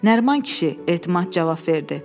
Nəriman kişi, Etimad cavab verdi.